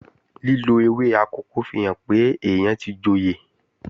Lílo ewé akòko fihàn pé èèyàn tí joyè